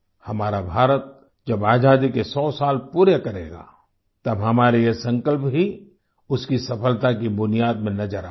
हमारा भारत जब आजादी के सौ साल पूरे करेगा तब हमारे ये संकल्प ही उसकी सफलता की बुनियाद में नज़र आएंगे